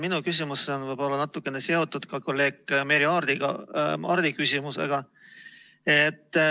Minu küsimus on võib-olla natukene seotud ka kolleeg Merry Aarti küsimusega.